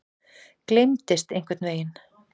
Gleymdist einhvern veginn.